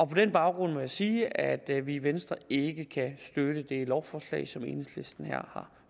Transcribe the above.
på den baggrund må jeg sige at vi i venstre ikke kan støtte det lovforslag som enhedslisten her